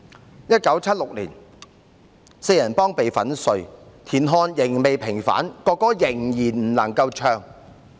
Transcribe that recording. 在1976年，四人幫被粉碎，田漢仍未平反，國歌仍然不能唱。